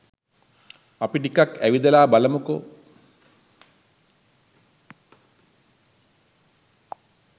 අපි ටිකක් ඇවිදලා බලමුකෝ